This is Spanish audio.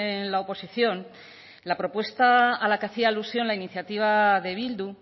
en la oposición la propuesta a la que hacía alusión la iniciativa de bildu